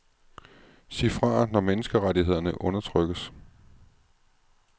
Sig fra når menneskerettighederne undertrykkes.